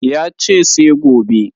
Ya ce sai gobe